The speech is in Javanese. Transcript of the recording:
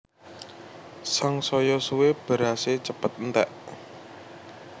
Sangsaya suwé berasé cepet enték